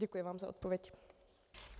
Děkuji vám za odpověď.